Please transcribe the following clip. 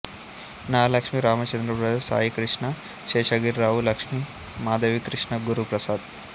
Nagalakshmi Ramachandra Prasad Saikrishna Seshagirirao Lakshmi Madhavikrishna Guru Prasad